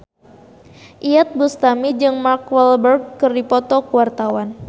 Iyeth Bustami jeung Mark Walberg keur dipoto ku wartawan